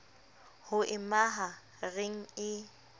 ho e maha reng e